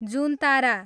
जुनतारा